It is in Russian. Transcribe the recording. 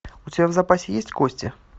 у тебя в запасе есть кости